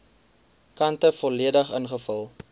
kante volledig ingevul